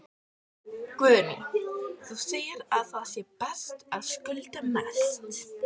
Guðný: Þú segir að það sé best að skulda mest?